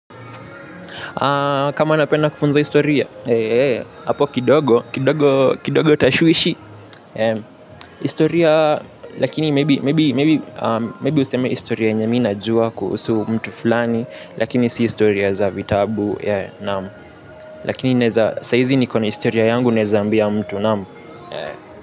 Kama napenda kufunza historia hapo kidogo, kidogo tashwishi. Historia, lakini maybe, maybe, maybe useme historia yenye mimi najua kuhusu mtu fulani lakini si historia za vitabu ya naam. Lakini naeza sahizi niko na historia yangu naeza ambia mtu naam.